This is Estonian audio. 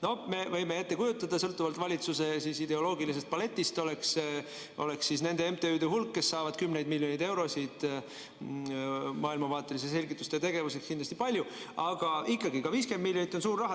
No me võime ette kujutada, et sõltuvalt valitsuse ideoloogilisest paletist oleks nende MTÜ-de hulk, kes saavad kümneid miljoneid eurosid maailmavaatelise selgitustöö tegemiseks, kindlasti suur, aga ikkagi ka 50 miljonit on suur raha.